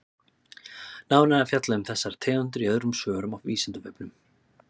Nánar er fjallað um þessar tegundir í öðrum svörum á Vísindavefnum.